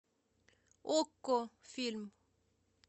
окко фильм